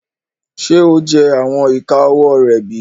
Ṣe o jẹ awọn ika ọwọ rẹ bi?